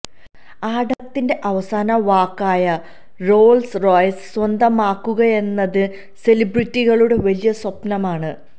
ആംഡബരത്തിന്റെ അവസാന വാക്കായ Rolls Royce സ്വന്തമാക്കുകയെന്നത് സെലിബ്രിറ്റികളുടെ വലിയ സ്വപ്നമാണ്